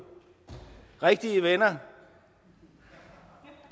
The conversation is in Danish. rigtige venner